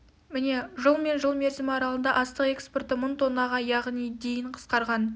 міне жыл мен жыл мерзімі аралығында астық экспорты мың тоннаға яғни дейін қысқарған